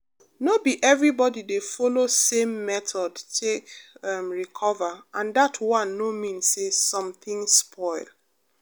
no be everybody dey follow same method take um recover and that one no mean say something spoil.